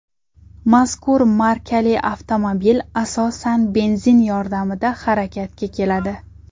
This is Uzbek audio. Mazkur markali avtomobil, asosan, benzin yordamida harakatga keladi.